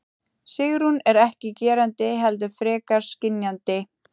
Sigrún er ekki gerandi heldur frekar skynjandi.